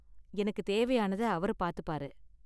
எனக்கு தேவையானத அவரு பாத்துப்பாரு.